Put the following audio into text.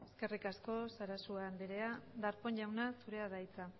eskerrik asko sarasua andrea darpón jauna zurea da hitza